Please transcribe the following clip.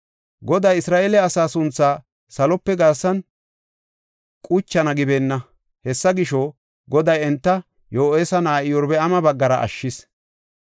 Goday Isra7eele asaa sunthaa salope garsan quchana gibeenna. Hessa gisho, Goday enta Yo7aasa na7aa Iyorbaama baggara ashshis.